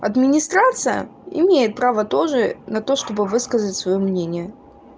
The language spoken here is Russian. администрация имеет право тоже на то чтобы высказывать своё мнение